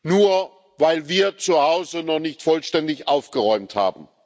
nur weil wir zu Hause noch nicht vollständig aufgeräumt haben.